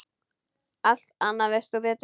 Allt annað veist þú Pétur.